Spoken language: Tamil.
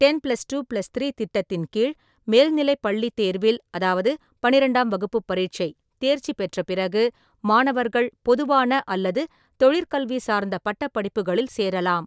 Ten plus two plus three திட்டத்தின் கீழ், மேல்நிலைப் பள்ளித் தேர்வில் அதாவது பன்னிரெண்டாம் வகுப்புப் பரீட்சை தேர்ச்சி பெற்ற பிறகு, மாணவர்கள் பொதுவான அல்லது தொழில்கல்வி சார்ந்த பட்டப் படிப்புகளில் சேரலாம்.